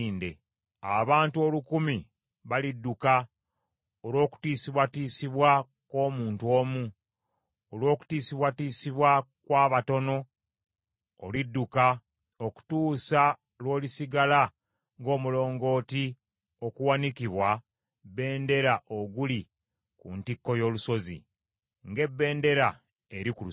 Abantu olukumi balidduka olw’okutiisibwatiisibwa kw’omuntu omu; Olw’okutiisibwatiisibwa kw’abataano, olidduka, Okutuusa lw’olisigala ng’omulongooti okuwanikibwa bbendera oguli ku ntikko y’olusozi, ng’ebendera eri ku kasozi.”